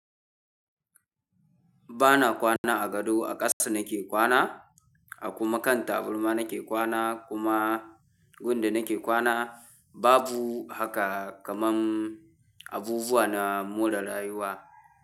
Ba na kwana a gado a ƙasa nake kwana, a kuma kan tabarma nake kwana kuma gun da nake kwana babu haka kaman abubuwa na more rayuwa.